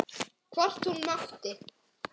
Hvort hún mátti!